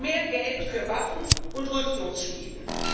Mehr Geld für Waffen und Rüstungsschmieden.